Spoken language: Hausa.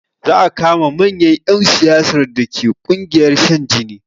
Za a kama manyan ƴan siyasar dake ƙungiyar shan jini